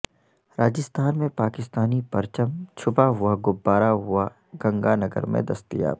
راجستھان میں پاکستانی پرچم چھپا ہوا غبارہ ہوا گنگا نگر میں دستیاب